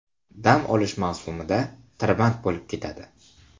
Dam olish mavsumida tirband bo‘lib ketadi.